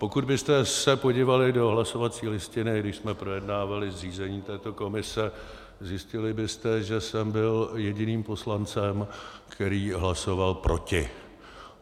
Pokud byste se podívali do hlasovací listiny, když jsme projednávali zřízení této komise, zjistili byste, že jsem byl jediným poslancem, který hlasoval proti.